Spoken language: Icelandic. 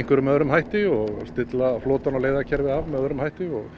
einhverjum öðrum hætti og stilla flotann og af með öðrum hætti og